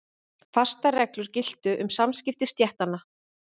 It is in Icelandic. Fastar reglur giltu um samskipti stéttanna.